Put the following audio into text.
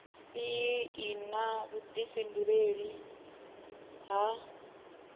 iyi i na vhuifhinduleli ha